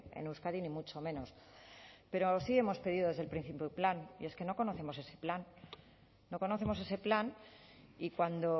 en euskadi ni mucho menos pero sí hemos pedido desde el principio un plan y es que no conocemos ese plan no conocemos ese plan y cuando